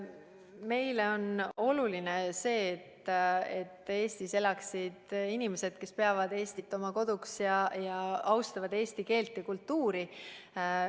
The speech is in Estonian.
Meile on oluline see, et Eestis elaksid inimesed, kes peavad Eestit oma koduks ja austavad eesti keelt ja kultuuri.